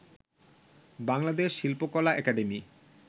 বাংলাদেশ শিল্পকলা একাডেমি